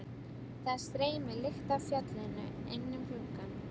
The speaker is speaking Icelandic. Það streymir lykt af fjallinu inn um gluggann.